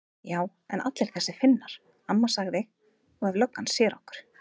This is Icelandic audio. Já en allir þessir Finnar. amma sagði. og ef löggan sér okkur.